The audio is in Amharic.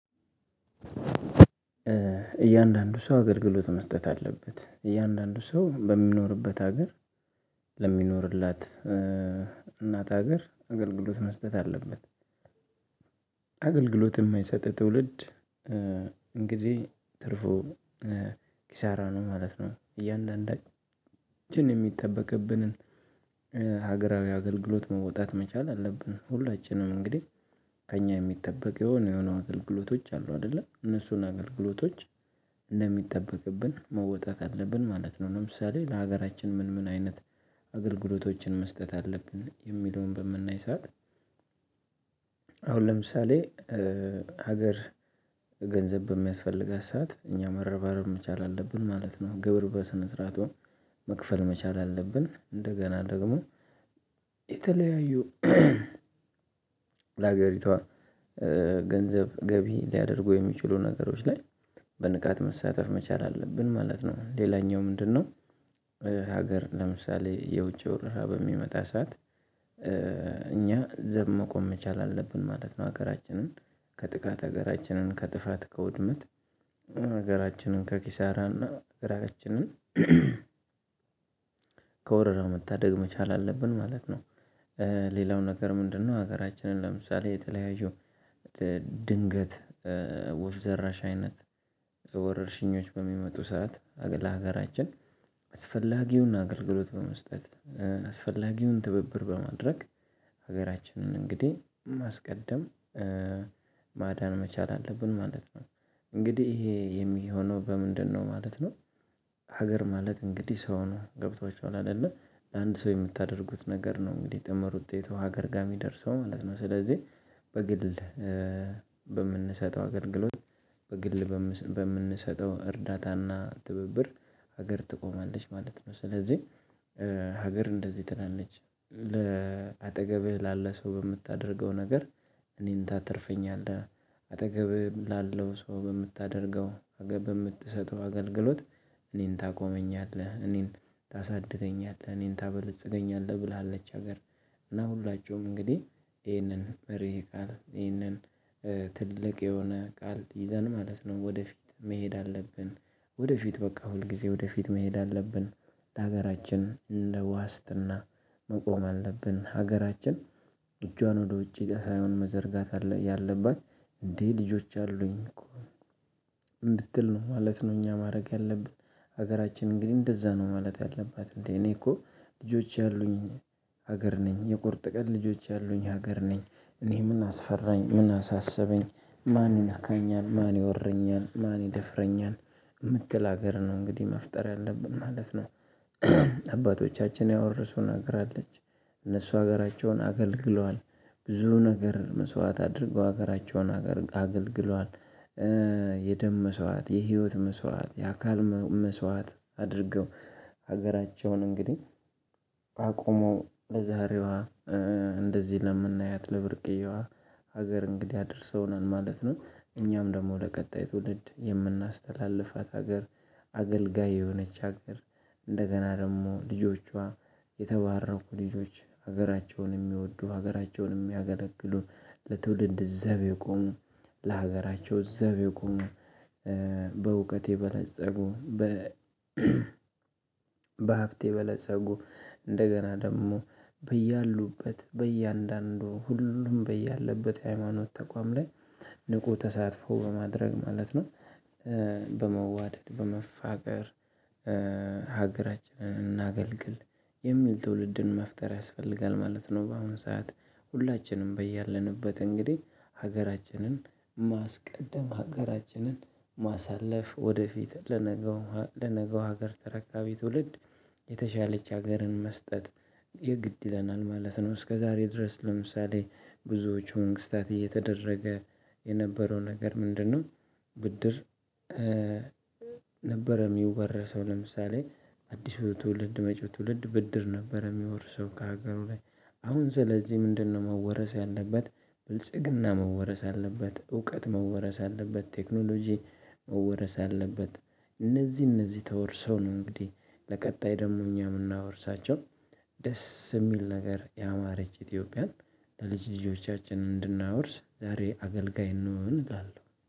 እያንዳንዱ ሰው አገልግሎት መስጠት አለበት። እያንዳንዱ ሰው በሚኖርበት ሀገር ለሚኖርላት እናት ሀገር አገልግሎት መስጠት አለበት። አገልግሎት የማይሰጥ ትውልድ እንግዲህ ትርፉ ኪሳራ ነው ማለት ነው። እያንዳንዳችን የሚጠበቅብንን ሀገራዊ አገልግሎት መውጣት መቻል አለብን። ሁላችንም እንግዲህ ከእኛ የሚጠበቅ የሆነ የሆነ አገልግሎቶች አሉ አይደለ እነሱን አገልግሎቶች እንደሚጠበቅብን መወጣት አለብን ማለት ነው። ለምሳሌ ለሀገራችን ምን ምን አይነት አገልግሎቶችን መስጠት አለብን የሚለውን በምናይ ሰዓት። አሁን ለምሳሌ ሀገር ገንዘብ በሚያስፈልጋት ሰዓት እኛ መረባረብ መቻል አለብን ማለት ነው። ግብር በስነ ስርዓቱ መክፈል መቻል አለብን። እንደገና ደግሞ የተለያዩ ለሀገሪቷ ገንዘብ ገቢ ሊያደርጉ የሚችሉ ነገሮች ላይ በንቃት መሳተፍ መቻል አለብን ማለት ነው። ሌላኛው ምንድነው? ሀገር ለምሳሌ የውጪ ወረራ በሚመጣ ሰዓት እኛ ዘብ መቆም መቻል አለብን ማለት ነው። ሀገራችንን ከጥቃት ሀገራችንን ከጥፋት ከውድመት ሀገራችንን ከኪሳራ እና ራሳችንን ከወረራው መታደግ መቻል አለብን ማለት ነው። ሌላው ነገር ምንድነው? ሀገራችንን ለምሳሌ የተለያዩ ድንገት ወፍ ዘራሽ አይነት ወረርሽኞች በሚመጡ ሰዓት ለሀገራችን አስፈላጊውና አገልግሎት በመስጠት አስፈላጊውን ትብብር በማድረግ ሀገራችንን እንግዲህ ማስቀደም ማዳን መቻል አለብን ማለት ነው። እንግዲህ ይሄ የሚሆነው በምንድነው ማለት ነው? ሀገር ማለት እንግዲህ ሰው ነው ገብቷቸዋል አይደለ አንድ ሰው የምታደርጉት ነገር ነው እንግዲህ ድምር ውጤቱ ሀገር ጋር የሚደርሰው ማለት ነው። ስለዚህ በግል በምንሰጠው ሀገር አገልግሎት በግል በምንሰጠው እርዳታና ትብብር ሀገር ትቆማለች ማለት ነው። ስለዚህ ሀገር እንደዚህ ትላለች። አጠገብህ ላለ ሰው የምታደርገው ነገር እኔን ታተርፈኛለህ አጠገብ ላለው ሰው በምታደርገው በምትሰጠው አገልግሎት እኔን ታቆመኛለህ እኔን ታሳድገኛለህ እኔን ታበለጽገኛለህ ብላለች። ሀገር እና ሁላችሁም እንግዲህ ይሄንን መርህ ቃል ይሄንን ትልቅ የሆነ ቃል ይዘን ማለት ነው ወደፊት መሄድ አለብን። ወደፊት በቃ ሁልጊዜ ወደፊት መሄድ አለብን። ለሀገራችን እንደ ዋስትና መቆም አለብን ሀገራችን እጇን ወደ ውጪ ሳይሆን መዘርጋት ያለባት እንዴ ልጆች አሉኝ ነው? እንድትል ነው ማለት ነው። እኛ ማድረግ ያለብን ሀገራችን እንግዲህ እንደዛ ነው ማለት ያለባት እንዴ እኔ እኮ ልጆች ያሉኝ ሀገር ነኝ የቁርጥ ቀን ልጆች ያሉኝ ሀገር ነኝ። እኔ ምን አስፈራኝ ምን አሳሰበኝ? ማን ይነካኛል ማን ይወረኛል ማን ይደፍረኛል? የምትል ሀገር ነው እንግዲህ መፍጠር ያለብን ማለት ነው። አባቶቻችን ያወርሱን ሀገር አለች እነሱ ሀገራቸውን አገልግለዋል ብዙ ነገር መስዋዕት አድርገው ሀገራቸውን አገልግለዋል። የደም መስዋዕት የህይወት መስዋዕት የአካል መስዋዕት አድርገው ሀገራቸውን እንግዲህ አቁመው ለዛሬዋ ለምናያት ለብርቅዬዋ ሀገር እንግዲህ አድርሰውናል ማለት ነው። እኛም ደግሞ ለቀጣይ ትውልድ የምናስተላልፋት ሀገር አገልጋይ የሆነች ሀገር እንደገና ደግሞ ልጆቿ የተባረኩ ልጆች ሀገራቸውን የሚወዱ ሀገራቸውን የሚያገለግሉ ለትውልድ ዘብ የቆሙ ለሀገራቸው ዘብ የቆሙ በእውቀት የበለፀጉ በሀብት በለፀጉ እንደገና ደግሞ በያሉበት በእያንዳንዱ ሁሉም በያለበት የሃይማኖት ተቋም ላይ ንቁ ተሳትፎ በማድረግ ማለት ነው። በመዋደድ በመፋቀር ሀገራችንን እናገልግል የሚል ትውልድን መፍጠር ያስፈልጋል ማለት ነው። በአሁን ሰዓት ሁላችንም በያለንበት እንግዲህ ሀገራችንን ማስቀደም ሀገራችንን ማሳለፍ ወደፊት ለነገው ለነገው ሀገር ተረካቢ ትውልድ የተሻለች ሀገርን መስጠት የግድ ይለናል ማለት ነው። እስከዛሬ ድረስ ለምሳሌ ብዙዎቹ መንግስታት እየተደረገ የነበረው ነገር ምንድነው? ብድር ነበረ የሚወረሰው ለምሳሌ አዲሱ ትውልድ መጪው ትውልድ ብድር ነበር። የሚወርሰው ከሀገሩ ላይ አሁን ስለዚህ ምንድነው መወረስ ያለበት? ብልጽግና መወረስ አለበት። እውቀት መወረስ አለበት። ቴክኖሎጂ መወረስ አለበት። እነዚህ እነዚህ ተወርሰው ነው እንግዲህ ለቀጣይ ደግሞ እኛ የምናወርሳቸው ደስ የሚል ነገር ያማረች ኢትዮጵያን ለልጅ ልጆቻችን እንድናወርስ ዛሬ አገልጋይ እንሆን እላለሁ።